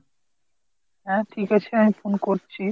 হা ঠিক আছে আমি phone করছি।